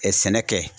sɛnɛ kɛ